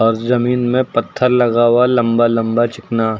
उस जमीन में पत्थर लगा हुआ लंबा लंबा चिकना।